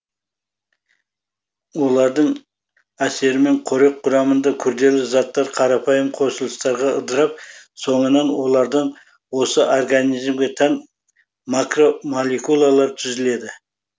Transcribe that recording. олардың әсерімен қорек құрамында күрделі заттар қарапайым қосылыстарға ыдырап соңынан олардан осы организмге тән макромолекулалар түзіледі